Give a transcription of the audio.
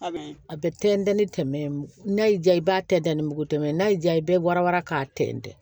A bɛ tɛntɛn ni tɛmɛ n'a y'i diya i b'a tɛntɛn ni mugu tɛmɛn n'a y'i ja i bɛ bɔra wara k'a tɛntɛn